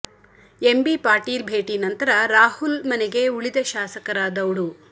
MB Patil ಭೇಟಿ ನಂತರ ರಾಹುಲ್ ಮನೆಗೆ ಉಳಿದ ಶಾಸಕರ ದೌಡು